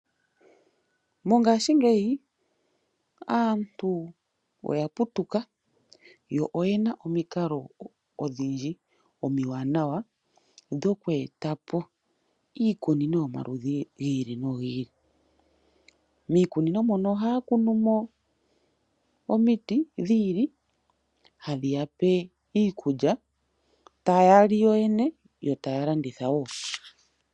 Mongaashingeyi aantu oya putuka noyena omikalo odhindji omiwanawa dhoku e ta po iikunino yomaludhi giili nogiili, miikunino mono ohaya kunu mo omiti dhiili, hadhi ya pe iikulya taya li yoyene yo taya landitha woo.